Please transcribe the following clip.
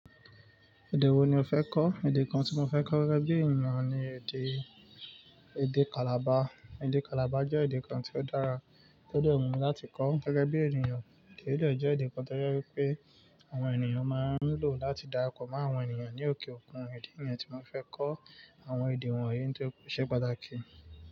Èdè wo ni o fẹ́ kọ́? Èdè kan tí mo fẹ́ kọ́ gẹ́gẹ́ bí ènìyàn ni èdè, èdè Calabar. Èdè Calabar jẹ́ èdè kan tí ó dára, tí ó dẹ̀ wù mí láti kọ́ gẹ́gẹ́ bí ènìyàn. Èdè yìí jẹ́ èdè kan tí ó jẹ́ pé àwọn ènìyàn máa ń lò láti darapọ̀ mọ́ àwọn ènìyàn ní òkè òkun. Ìdí nìyẹn tí mo fí fẹ́ kọ́, àwọn èdè wọ̀nyí nítorí pé ó ṣe pàtàkì.